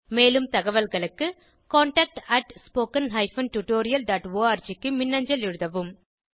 மேலும் தகவல்களுக்கு contactspoken tutorialorg க்கு மின்னஞ்சல் எழுதவும்